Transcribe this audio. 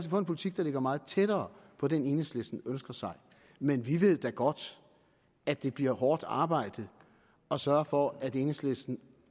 få en politik der ligger meget tættere på den enhedslisten ønsker sig men vi ved da godt at det bliver hårdt arbejde at sørge for at enhedslisten